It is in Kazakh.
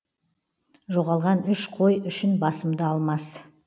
жоғалған үш қой үшін басымды алмас